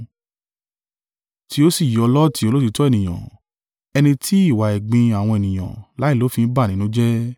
Tí ó sì yọ Lọti olóòtítọ́ ènìyàn, ẹni tí ìwà ẹ̀gbin àwọn ènìyàn láìlófin bà nínú jẹ́;